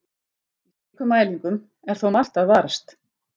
Í slíkum mælingum er þó margt að varast.